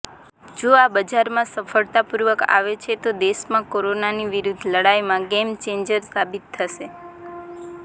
જો આ બજારમાં સફળતાપૂર્વક આવે છે તો દેશમાં કોરોનાની વિરૂદ્ધ લડાઇમાં ગેમચેન્જર સાબિત થશે